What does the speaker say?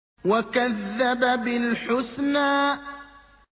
وَكَذَّبَ بِالْحُسْنَىٰ